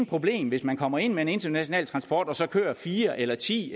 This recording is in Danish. problem hvis man kommer ind med en international transport og så kører fire eller ti